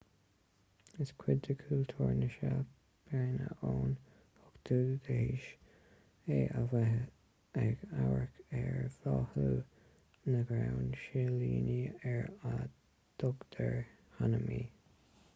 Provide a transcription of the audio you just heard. is cuid de chultúr na seapáine ón 8ú haois é a bheith ag amharc ar bhláthú na gcrann silíní ar a dtugtar hanami